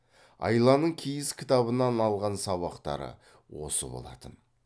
айланың киіз кітабынан алған сабақтары осы болатын